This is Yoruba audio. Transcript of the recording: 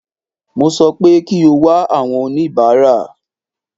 Mo sọ pé kí o wá àwọn oníbàárà.